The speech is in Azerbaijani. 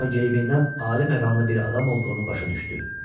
Amma geyibindən ali məqamlı bir adam olduğunu başa düşdü.